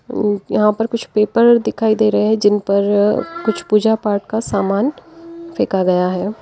ऊ यहां पर कुछ पेपर दिखाई दे रहे हैं जिन पर अ कुछ पूजा पाठ का सामान फेंका गया है।